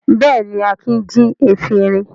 Bẹ́ẹ̀ni, Akin jí efirin.